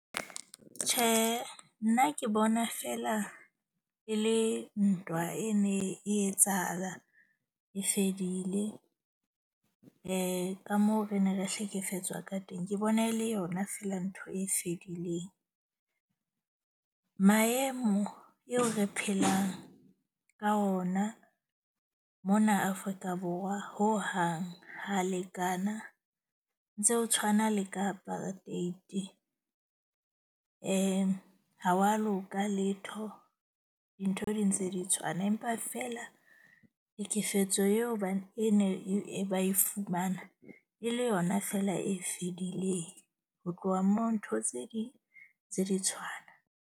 Tjhe, nna ke bona feela e le ntwa e ne e etsahala, e fedile. Ka moo re ne re hlekefetswa ka teng. Ke bona e le yona feela ntho e fedileng. Maemo eo re phelang ka ona mona Afrika Borwa. Ho hang ha lekana ntse o tshwana le ka apartheid-i. Ha wa loka letho. Dintho di ntse di tshwana empa feela hlekefetso yeo bane e ne e ba e fumana e le yona fela e fedileng. Ho tloha moo ntho tse ding tse di tshwana.